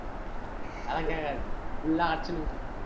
அதெல்லா கேட்காது. full ஆ அடிச்சினுக்குது